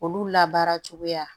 Olu labaara cogoya